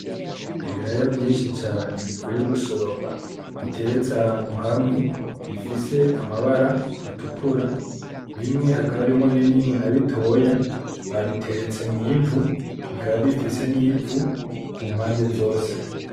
Ibiraya vyinshi cane bavuye gusoroma biteretse ahantu hamwe bifise amabara atukura bimwe hakaba harimwo binini na bitoya, babiteretse mw'ivu, bikaba bifise n'ivu kumpande zose.